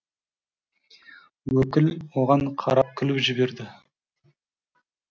өкіл оған қарап күліп жіберді